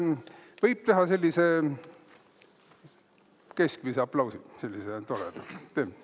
Võib teha sellise keskmise aplausi, sellise toreda.